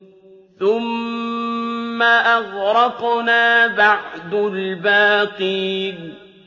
ثُمَّ أَغْرَقْنَا بَعْدُ الْبَاقِينَ